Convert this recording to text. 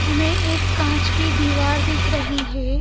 हमें एक कांच की दीवार दिख रही है।